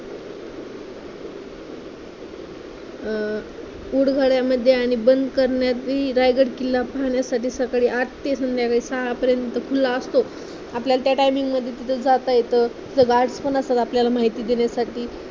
अं उठभऱ्यामध्ये आणि बंद करण्यात ही रायगड किल्ला पाहण्यासाठी सकाळी आठ ते संध्याकाळी सहापर्यंत खुल्ला असतो. आपल्याला त्या timing मध्ये तिथं जात येत. तिथे guard पण असतात आपल्याला माहिती देण्यासाठी